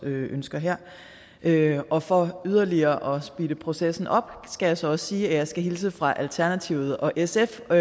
ønsker her her og for yderligere at speede processen op skal jeg så også sige at jeg skal hilse fra alternativet og sf og